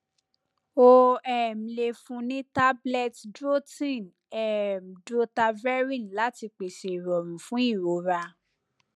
o um le fun ni tablet drotin um drotaverine lati pese irorun fun irora